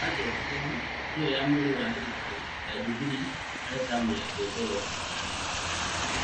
Mbanjeti ĩno nĩyo ya mwĩrĩ ya thirikari ya Jubilee harĩ tamu yake mbere thirikari-inĩ